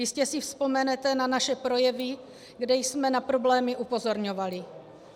Jistě si vzpomenete na naše projevy, kde jsme na problémy upozorňovali.